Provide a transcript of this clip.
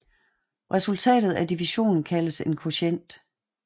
Resultatet af divisionen kaldes en kvotient